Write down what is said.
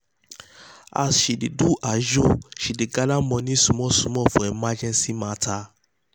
as she dey do ajo she dey gather money small small for emergency matter.